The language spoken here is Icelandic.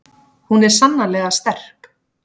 Hún er sannarlega sterk.